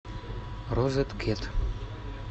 розеткид